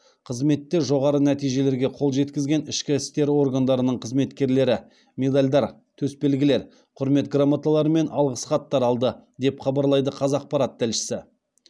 қызметте жоғары нәтижелерге қол жеткізген ішкі істер органдарының қызметкерлері медальдар төсбелгілер құрмет грамоталары мен алғыс хаттар алды деп хабарлайды қазақпарат тілшісі